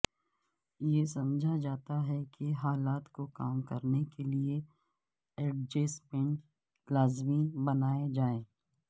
یہ سمجھا جاتا ہے کہ حالات کو کام کرنے کے لئے ایڈجسٹمنٹ لازمی بنائے جائیں